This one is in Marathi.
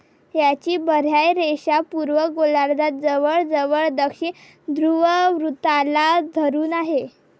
याची बाह्यरेषा पूर्व गोलार्धात जवळजवळ दक्षिण ध्रुववृत्ताला धरून आहे.